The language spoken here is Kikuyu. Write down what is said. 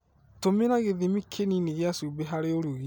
Tũmĩra gĩthimi kĩnini gĩa cumbĩ harĩ ũrugi.